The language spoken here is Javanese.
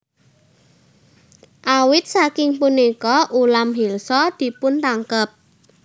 Awit saking punika ulam Hilsa dipuntangkep